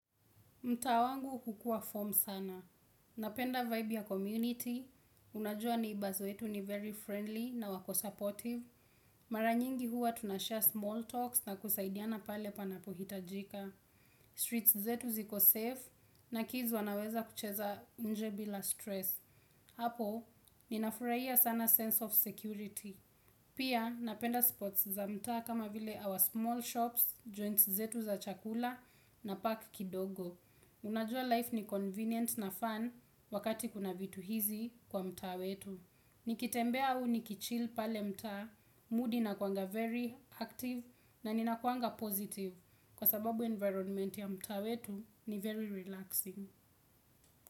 Mtaa wangu hukuwa form sana. Napenda vibe ya community. Unajua neighbours wetu ni very friendly na wako supportive. Mara nyingi huwa tuna share small talks na kusaidiana pale panapohitajika. Streets zetu ziko safe na kids wanaweza kucheza nje bila stress. Hapo, ninafurahia sana sense of security. Pia, napenda spots za mtaa kama vile our small shops, joints zetu za chakula na park kidogo. Unajua life ni convenient na fun wakati kuna vitu hizi kwa mtaa wetu. Nikitembea au niki chill pale mtaa, mood inakuanga very active na inakuanga positive. Kwa sababu environment ya mtaa wetu ni very relaxing.